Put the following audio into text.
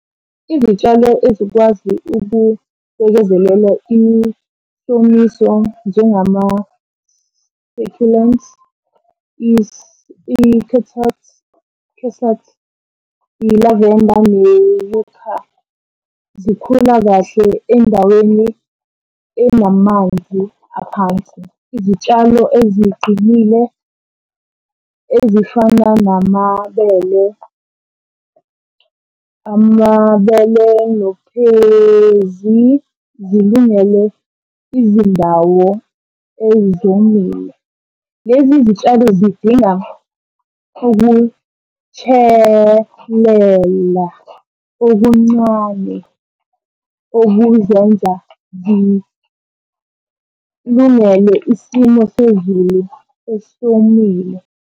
Izitshalo ezikwazi ukubekezelela isomiso njengama-succulents, , i-lavender . Zikhula kahle endaweni enamanzi aphansi. Izitshalo eziqinile ezifana namabele, amabele nokhwezi, zilungele izindawo ezomile. Lezi zitshalo zidinga ukutshelela okuncane okuzenza zilungele isimo sezulu esomile.